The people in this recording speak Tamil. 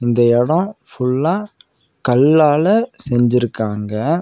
இந்த எடோ ஃபுல்லா கல்லால செஞ்சிருக்காங்க.